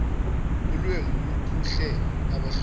ulwembu lukhuhle abahluleli